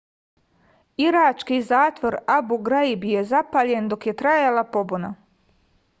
irački zatvor abu graib je zapaljen do je trajala pobuna